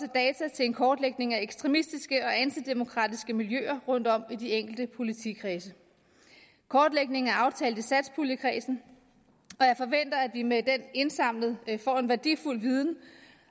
til en kortlægning af ekstremistiske og antidemokratiske miljøer rundtom i de enkelte politikredse kortlægningen er aftalt i satspuljekredsen og at vi med den indsamling får en værdifuld viden